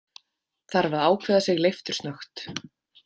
Þarf að ákveða sig leiftursnöggt.